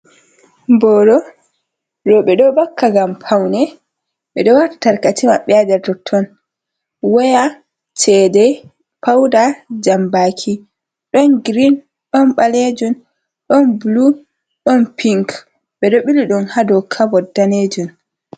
Boro. Roɓe ɗo vakka ngam paune, ɓe ɗo waata tarkace maɓɓe haa nder totton waya, cede, pauda, jambaki, ɗon girin, ɗon ɓaleejum, ɗon bulu, ɗon pink, ɓe ɗo ɓili ɗum haa dow kabot daneejum.